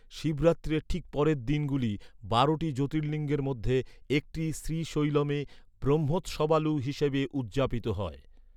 শিবরাত্রির ঠিক পরের দিনগুলি বারোটি জ্যোতির্লিঙ্গের মধ্যে একটি শ্রীশৈলমে ব্রহ্মোৎসবালু হিসাবে উদযাপিত হয়।